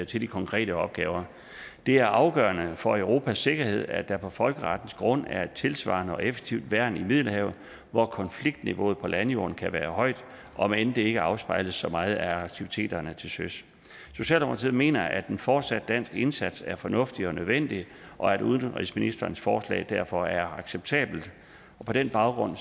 til de konkrete opgaver det er afgørende for europas sikkerhed at der på folkerettens grund er et tilsvarende og effektivt værn i middelhavet hvor konfliktniveauet på landjorden kan være højt om end det ikke afspejles så meget af aktiviteterne til søs socialdemokratiet mener at en fortsat dansk indsats er fornuftig og nødvendig og at udenrigsministerens forslag derfor er acceptabelt på den baggrund